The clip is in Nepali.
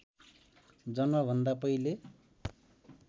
जन्मभन्दा पहिले